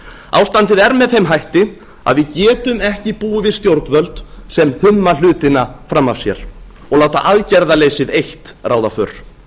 ástandið er með þeim hætti að við getum ekki búið við stjórnvöld sem humma hlutina fram af sér og láta aðgerðaleysið eitt ráða för